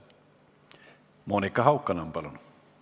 Monika Haukanõmm, palun!